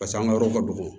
Paseke an ka yɔrɔ ka dɔgɔ